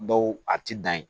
Dɔw a ti dan ye